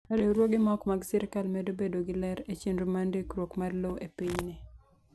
Riwruoge ma ok mag sirkal medo bedo gi ler e chenro mar ndikruok mar lowo e pinyni.